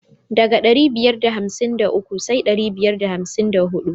Ɗaga da ɗari biyar da hamsin da uku sai dari biyar da hamsin da huɗu.